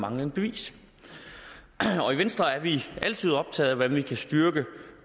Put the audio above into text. manglende bevis i venstre er vi altid optaget af hvordan vi kan styrke